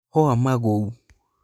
mahũa maguo